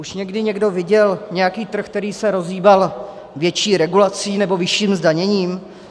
Už někdy někdo viděl nějaký trh, který se rozhýbal větší regulací nebo vyšším zdaněním?